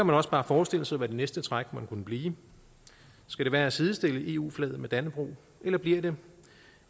man også bare forestille sig hvad det næste træk måtte kunne blive skal det være at sidestille eu flaget med dannebrog eller bliver det